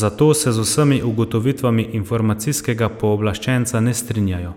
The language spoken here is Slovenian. zato se z vsemi ugotovitvami informacijskega pooblaščenca ne strinjajo.